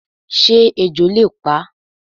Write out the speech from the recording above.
Sé ejò le pa?